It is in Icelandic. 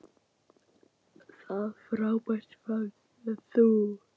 Það frábær fannst mér þú.